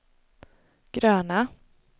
gröna